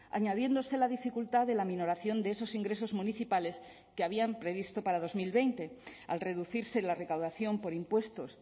añadiéndose la dificultad de la minoración de esos ingresos municipales que habían previsto para dos mil veinte al reducirse la recaudación por impuestos